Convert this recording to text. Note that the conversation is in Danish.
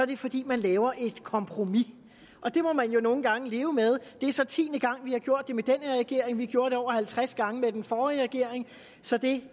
det fordi man laver et kompromis og det må man jo nogle gange leve med det er så tiende gang vi har gjort det med den her regering vi gjorde det over halvtreds gange med den forrige regering så det